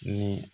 Ni